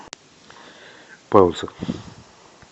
пауза